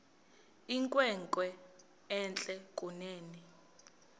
inkwenkwe entle kunene